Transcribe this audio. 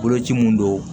Koloci mun don